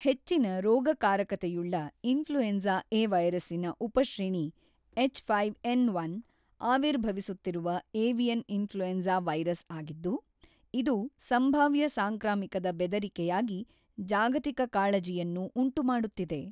ಹೆಚ್ಚಿನ ರೋಗಕಾರಕತೆಯುಳ್ಳ influenza A ವೈರಸ್ಸಿನ ಉಪಶ್ರೇಣಿ ಹೆಚ್‌೫ಎನ್‌೧ ಆವಿರ್ಭವಿಸುತ್ತಿರುವ ಏವಿಯನ್ ಇನ್ಫ್ಲುಯೆನ್ಸ ವೈರಸ್ ಆಗಿದ್ದು, ಇದು ಸಂಭಾವ್ಯ ಸಾಂಕ್ರಾಮಿಕದ ಬೆದರಿಕೆಯಾಗಿ ಜಾಗತಿಕ ಕಾಳಜಿಯನ್ನು ಉಂಟುಮಾಡುತ್ತಿದೆ.